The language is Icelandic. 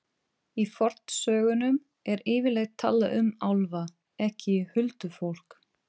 Í fornsögunum er yfirleitt talað um álfa, ekki huldufólk.